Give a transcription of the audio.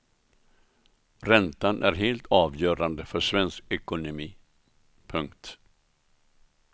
Räntan är helt avgörande för svensk ekonomi. punkt